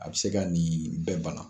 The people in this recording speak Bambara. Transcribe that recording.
A bɛ se ka nin bɛɛ bana